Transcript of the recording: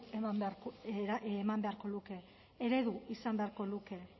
eman beharko luke eredu izan beharko luke